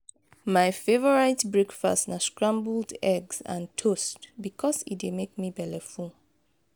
my favorite breakfast na scrambled eggs and toast bikos e dey make me belleful.